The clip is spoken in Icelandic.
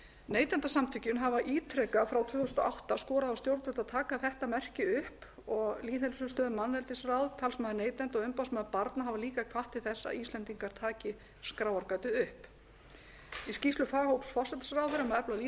neytendasamtökin hafa ítrekað frá tvö þúsund og átta skorað á stjórnvöld að taka þetta merki upp og lýðheilsustöð manneldisráð talsmaður neytenda og umboðsmaður barna hafa líka hvatt til þess að íslendingar taki skráargatið upp í skýrslu forsætisráðherra um matvæli frá tvö þúsund og fimm er